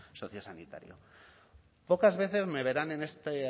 sociosanitario pocas veces me verán en esta